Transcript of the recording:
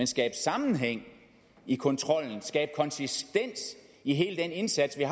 skabe sammenhæng i kontrollen skabe konsistens i hele den indsats vi